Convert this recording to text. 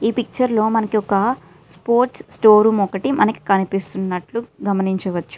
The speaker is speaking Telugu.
ఈ పిక్చర్ లో మనకి ఒక స్పోర్ట్స్ షోరూం ఒకటి కనిపిస్తున్నట్లు గమనించవచ్చు .